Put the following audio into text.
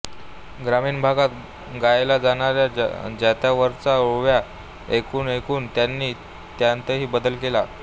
ग्रामीण भागात गायल्या जाणाऱ्या जात्यावरच्या ओव्या ऐकूनऐकून त्यांनी त्यांतही बदल केले